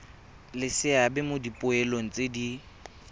le seabe mo dipoelong tse